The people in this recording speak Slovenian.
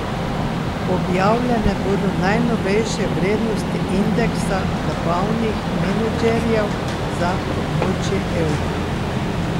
Objavljene bodo najnovejše vrednoti indeksa nabavnih menedžerjev za območje evra.